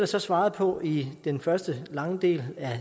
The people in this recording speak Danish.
så svaret på i den første lange del af